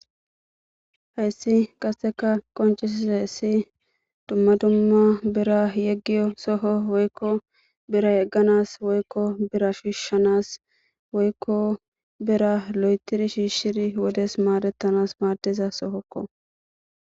hessi qasseka qoncisizayessi dumma dumma bira yeggiyo soho woykko bira yegganas woykko bira shiishshanas woykko bira lo7etiri shiishshiri wodes maadettanas maadiza sohokko